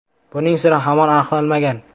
Buning siri hamon aniqlanmagan.